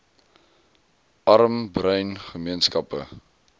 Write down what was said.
arm bruin gemeenskappe